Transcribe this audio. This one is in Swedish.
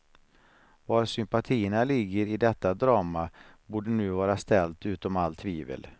Var sympatierna ligger i detta drama borde nu var ställt utom all tvivel.